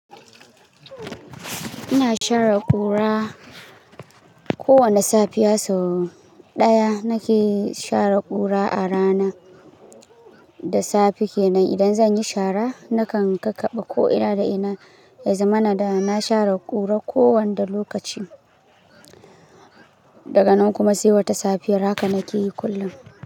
Ina share ƙura. Ko wane safiya sau ɗaya nake share ƙura a rana da safe kenan. Idan zan yi shara, nakan kakaba ko ina da ina, ya zama na da na share ƙura ko wanda lokaci. Daga nan kuma sai wata safiyar, haka nake yi kullum.